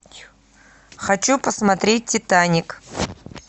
хочу посмотреть титаник